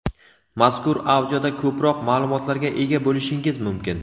Mazkur audioda ko‘proq ma’lumotlarga ega bo‘lishingiz mumkin.